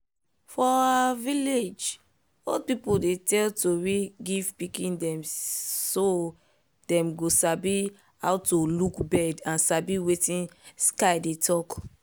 for our village old people dey tell tori give pikin dem so dem go sabi how to look bird and sabi wetin sky dey talk.